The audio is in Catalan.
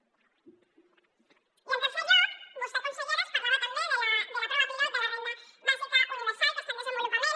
i en tercer lloc vostè consellera ens parlava també de la prova pilot de la renda bàsica universal que està en desenvolupament